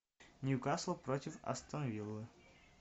ньюкасл против астон виллы